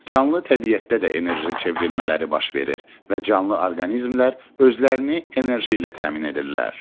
Canlı təbiətdə də enerji çevrilmələri baş verir və canlı orqanizmlər özlərini enerji ilə təmin edirlər.